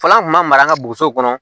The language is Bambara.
Fɔlɔ an kun ma mara an ka boso kɔnɔ